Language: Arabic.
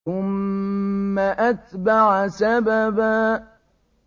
ثُمَّ أَتْبَعَ سَبَبًا